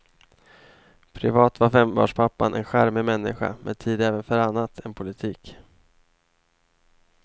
Privat var fembarnspappan en charmig människa med tid även för annat än politik.